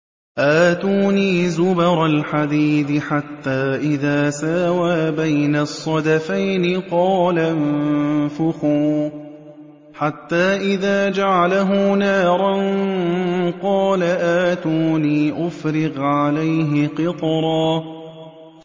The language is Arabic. آتُونِي زُبَرَ الْحَدِيدِ ۖ حَتَّىٰ إِذَا سَاوَىٰ بَيْنَ الصَّدَفَيْنِ قَالَ انفُخُوا ۖ حَتَّىٰ إِذَا جَعَلَهُ نَارًا قَالَ آتُونِي أُفْرِغْ عَلَيْهِ قِطْرًا